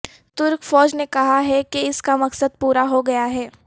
ترک فوج نے کہا ہے کہ اس کا مقصد پورا ہو گیا ہے